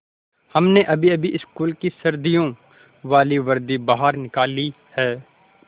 हमने अभीअभी स्कूल की सर्दियों वाली वर्दी बाहर निकाली है